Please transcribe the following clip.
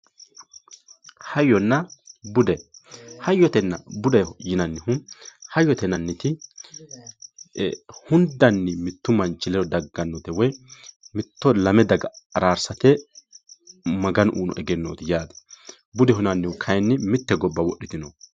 hayyonna bude hayyotenna budeho yinannihu, hayyote yinanniti hundanni mittu manchi ledo daggannnote woy hatto lame daga araarsate maganu uyiino egenooti yaate, budu kayiinni mitte gobba wodhitinoho yaate.